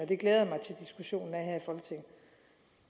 så